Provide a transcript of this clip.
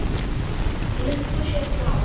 Muntu sitja áfram?